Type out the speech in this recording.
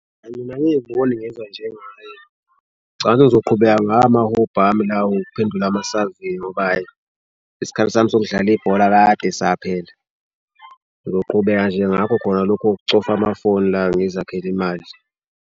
Mina angiyiboni ngezwa njengaye, ngicabanga ukuthi ngizoqhubeka ngawo amahobhi ami lawo ukuphendulwa amasaveyi ngoba ayi isikhathi sami sokudlala ibhola kade saphela. Ngizoqhubeka nje ngakho khona lokhu kokucofa amafoni la ngizakhele imali.